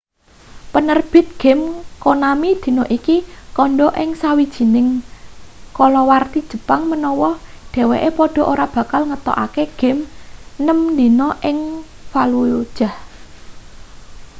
penerbit game konami dina iki kandha ing sawijining kalawarti jepang menawa dheweke padha ora bakal ngetokake game nem dina ing fallujah